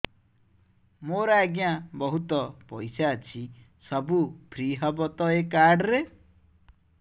ମୋର ଆଜ୍ଞା ବହୁତ ପଇସା ଅଛି ସବୁ ଫ୍ରି ହବ ତ ଏ କାର୍ଡ ରେ